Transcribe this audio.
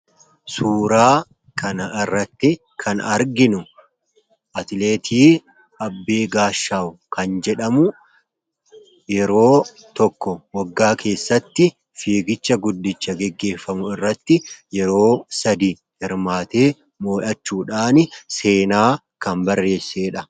Suuraa kana irratti kan arginu, atileetii Abbee Gaashawu kan jedhamu yeroo tokko waggaa keessatti fiigicha guddicha gaggeeffamu irratti yeroo sadii hirmaatee mo'achuudhaan seenaa kan barreessedha.